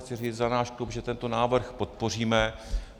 Chci říct za náš klub, že tento návrh podpoříme.